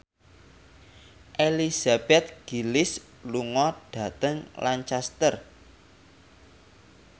Elizabeth Gillies lunga dhateng Lancaster